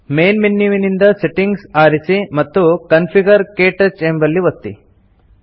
main ಮೆನ್ಯುವಿನಿಂದ settings ಆರಿಸಿ ಮತ್ತು ಕಾನ್ಫಿಗರ್ - ಕ್ಟಚ್ ಎಂಬಲ್ಲಿ ಒತ್ತಿ